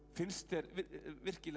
finnst þér virkilega